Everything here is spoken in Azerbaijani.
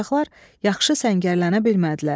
Qaçaqlar yaxşı səngərlənə bilmədilər.